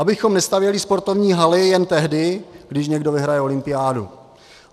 Abychom nestavěli sportovní haly jen tehdy, když někdo vyhraje olympiádu.